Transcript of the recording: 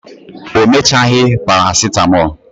o mechaghi paracetmol